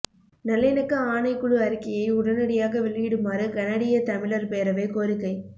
நல்லிணக்க ஆணைக்குழு அறிக்கையை உடனடியாக வெளியிடுமாறு கனடிய தமிழர் பேரவை கோரிக்கை